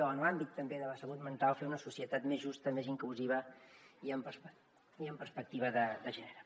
o en l’àmbit també de la salut mental fer una societat més justa més inclusiva i amb perspectiva de gènere